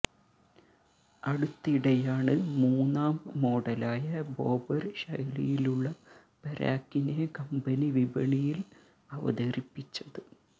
അടുത്തിടെയാണ് മൂന്നാം മോഡലായ ബോബര് ശൈലിയിലുള്ള പെരാക്കിനെ കമ്പനി വിപണയില് അവതരിപ്പിച്ചത്